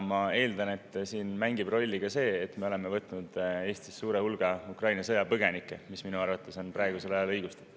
Ma eeldan, et siin mängib rolli ka see, et me oleme võtnud Eestisse suure hulga Ukraina sõjapõgenikke, mis minu arvates on praegusel ajal õigustatud.